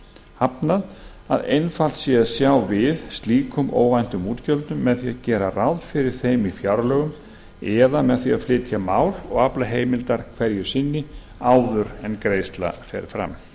hafnað að einfalt sé að sjá við slíkum óvæntum útgjöldum með því að gera ráð fyrir þeim í fjárlögum eða með því að flytja mál og afla heimildar hverju sinni áður en greiðsla fer fram það er